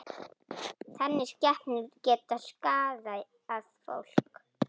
Þannig skepnur geta skaðað fólk.